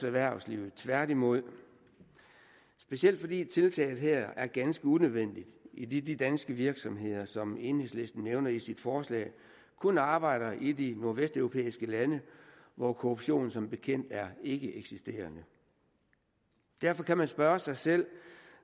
erhvervslivet tværtimod specielt fordi tiltaget her er ganske unødvendigt idet de danske virksomheder som enhedslisten nævner i sit forslag kun arbejder i de nordvesteuropæiske lande hvor korruption som bekendt er ikkeeksisterende derfor kan man spørge sig selv